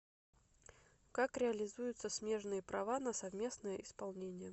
как реализуются смежные права на совместное исполнение